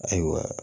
Ayiwa